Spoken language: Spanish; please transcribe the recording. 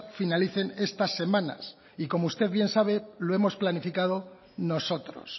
finalicen estas semanas y como usted bien sabe lo hemos planificado nosotros